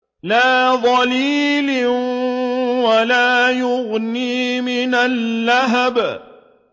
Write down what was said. لَّا ظَلِيلٍ وَلَا يُغْنِي مِنَ اللَّهَبِ